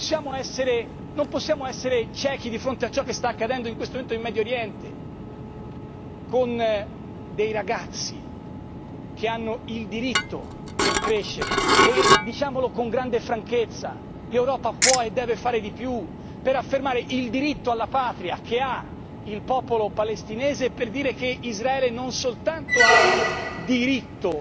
Non possiamo essere ciechi di fronte a ciò che sta accadendo in questo momento in Medio Oriente, con dei ragazzi che hanno il diritto di crescere e diciamolo con grande franchezza l'Europa può e deve fare di più per affermare il diritto alla patria che ha il popolo palestinese e per dire che Israele non soltanto ha il diritto